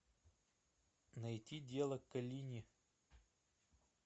найти дело коллини